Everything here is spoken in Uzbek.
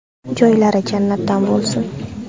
Joylari jannatdan bo‘lsin.